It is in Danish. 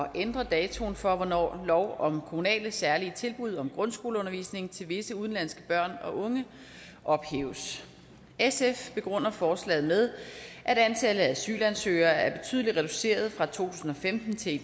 at ændre datoen for hvornår lov om kommunale særlige tilbud om grundskoleundervisning til visse udenlandske børn og unge ophæves sf begrunder forslaget med at antallet af asylansøgere er betydelig reduceret fra to tusind og femten til i